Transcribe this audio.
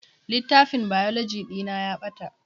Littafin Biology ɗina ya ɓata